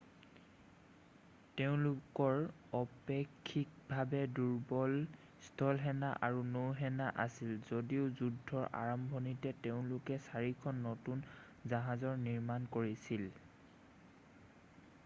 তেওঁলোকৰ অপেক্ষিকভাৱে দুৰ্বল স্থলসেনা আৰু নৌসেনা আছিল যদিও যুদ্ধৰ আৰম্ভণিতে তেওঁলোকে চাৰিখন নতুন জাহাজৰ নিৰ্মাণ কৰিছিল